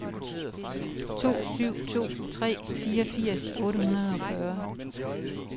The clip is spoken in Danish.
to syv to tre fireogfirs otte hundrede og fyrre